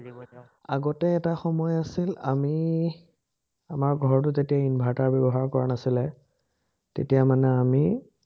আগতে এটা সময় আছিল, আমি আমাৰ ঘৰতো তেতিয়া inverter ব্যৱহাৰ কৰা নাছিলে, তেতিয়া মানে আমি